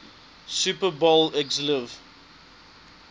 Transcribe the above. super bowl xliv